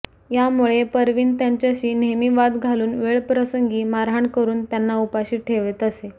यामुळे परवीन त्यांच्याशी नेहमी वाद घालून वेळप्रसंगी मारहाण करून त्यांना उपाशी ठेवत असे